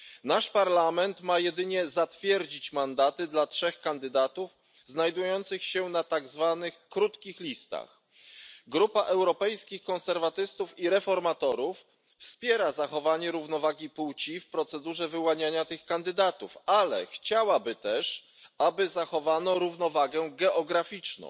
Nasz Parlament ma jedynie zatwierdzić mandaty dla trzech kandydatów znajdujących się na tak zwanych krótkich listach. Grupa Europejskich Konserwatystów i Reformatorów wspiera zachowanie równowagi płci w procedurze wyłaniania tych kandydatów, ale chciałaby też, aby zachowano równowagę geograficzną.